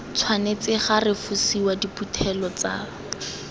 tshwanetse ga refosiwa diphuthelo tsa